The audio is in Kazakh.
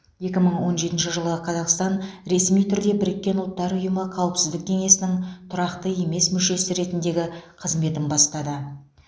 екі мың он жетінші жылы қазақстан ресми түрде біріккен ұлттар ұйымы қауіпсіздік кеңесінің тұрақты емес мүшесі ретіндегі қызметін бастады